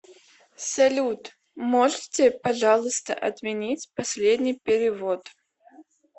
салют можете пожалуйста отменить последний перевод